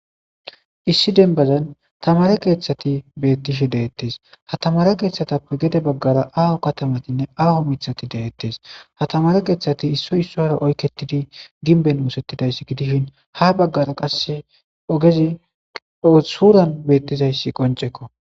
issi denbazan tamare keeththati bettishe de'ettes ha tamare keeththatappe gede baggara aho katamatinne aaho mithati de'ettes ha tamare keeththati issoy issora oykketidi ginben wosettidayssi gidishin ha baggara qas ogezi suuran beettizayssi qoncekko